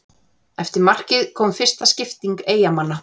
Eftir markið kom fyrsta skipting Eyjamanna.